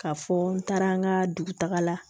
K'a fɔ n taara an ka dugutaga la